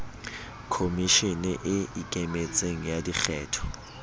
khomishene e ikemetseng ya dikgetho